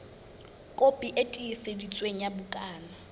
kopi e tiiseditsweng ya bukana